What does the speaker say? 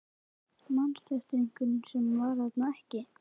Manstu eftir einhverjum sem var þarna ekki?